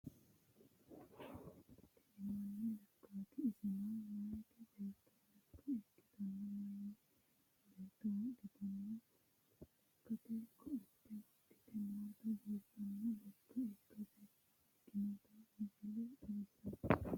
Tini mannu lekkaati iseno meyaa beetto lekka ikkitanna meyaa beetto wodhitanno lekkate koate wodhite nootanna biiffanno lekka ikkitinota misile xawissanno.